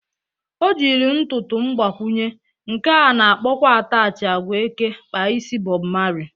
O jiri ntụtụ mgbakwụnye, nke a na-akpọkwa atachị agwa eke kpa isi Bọb Mali